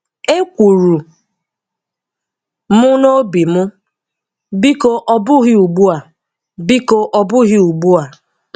E kwuru m n'ime obi m, "Biko ọ bụghị ugbua, biko ọ bụghị ugbua"